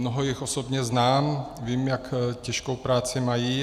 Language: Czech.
Mnoho jich osobně znám, vím, jak těžkou práci mají.